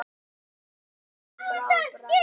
Betri er bið en bráðræði.